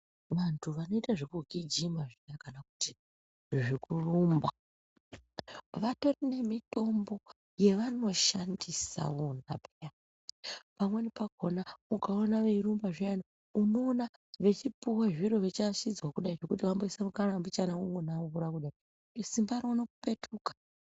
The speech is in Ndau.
Vantu vanoita zvekugijima zviya kana kuti zvekurumba. Vatorine mitombo yavanoshandisa vona peya. Pamweni pakona ukaona veirumba zviyana unoona vechipuva zviro vechiashidzwa kudai nekuti vamboiswa mukanwa mbichana vombo nambura kudai, simba rotopetuka.